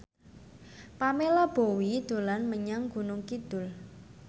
Pamela Bowie dolan menyang Gunung Kidul